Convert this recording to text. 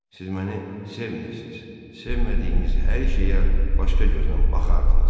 Siz məni sevməmisiz, sevmədiyiniz hər şeyə başqa göznən baxardınız.